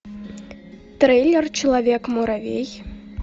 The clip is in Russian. трейлер человек муравей